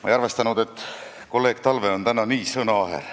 Ma ei arvestanud, et kolleeg Talve on täna nii sõnaaher.